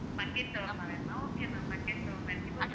bucket shawarma வேணுமா okay ma'am bucket shawarma இருக்கு